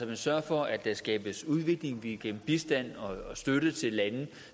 man sørger for at der skabes udvikling at vi igennem bistand og støtte til landene